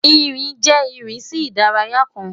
Nrin jẹ irisi idaraya kan